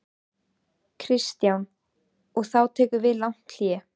Kristján: Og þá tekur við langt hlé?